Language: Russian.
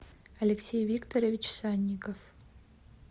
алексей викторович санников